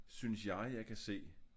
Synes jeg jeg kan se